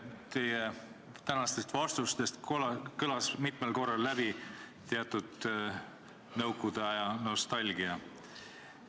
Teie tänastest vastustest kõlas mitmel korral läbi teatud nõukogude aja nostalgia.